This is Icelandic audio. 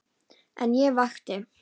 En ég vakti.